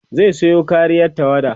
zai Sayo koriyar tawada